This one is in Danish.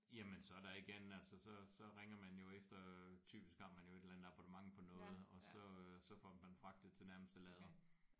Jamen så er der ikke andet altså så så ringer man jo efter typisk har man jo efter et eller andet abonnement på noget og så øh så får man fragtet til nærmeste lader